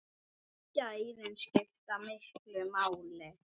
Gæðin skiptu miklu máli.